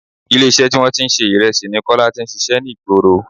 Ilé iṣẹ́ tí wọn tí ń ṣe Ìrẹsì ni Kọ́lá tí ń ṣíṣe ní ìgboro.